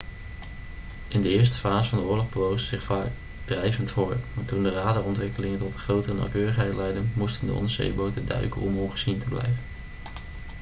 in de eerste fase van de oorlog bewogen ze zich vaak drijvend voort maar toen de radarontwikkelingen tot een grotere nauwkeurigheid leidden moesten de onderzeeboten duiken om ongezien te blijven